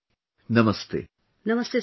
Preeti ji, Namaste